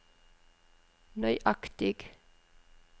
nøyaktig